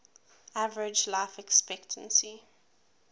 average life expectancy